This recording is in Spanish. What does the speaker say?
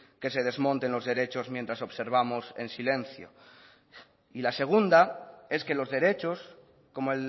que se desmonten los derechos mientras observamos en silencio y la segunda es que los derechos como